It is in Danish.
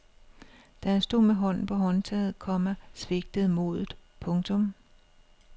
Da han stod med hånden på håndtaget, komma svigtede modet. punktum